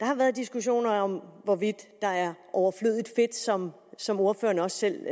har været diskussioner om hvorvidt der er overflødigt fedt som som ordføreren også selv